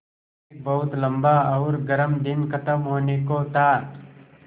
एक बहुत लम्बा और गर्म दिन ख़त्म होने को था